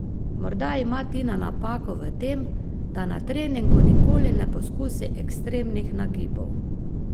Morda ima Tina napako v tem, da na treningu nikoli ne poskusi ekstremnih nagibov.